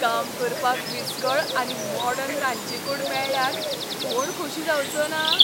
काम करपाक विस्कळ आनी मॉडर्न रांदची कूड मेळ्ळ्यार कोण खोशी जावचोना?